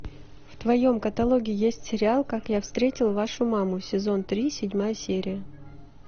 в твоем каталоге есть сериал как я встретил вашу маму сезон три седьмая серия